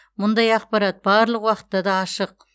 мұндай ақпарат барлық уақытта да ашық